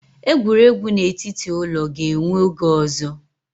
Egwuregwu n'etiti ụlọ ga-enwe oge ọzọ